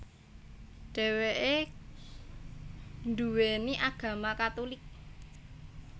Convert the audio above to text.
Dheweke nduweni agama Katulik